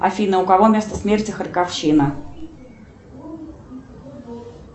афина у кого место смерти харьковщина